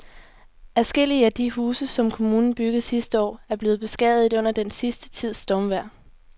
Adskillige af de huse, som kommunen byggede sidste år, er blevet beskadiget under den sidste tids stormvejr.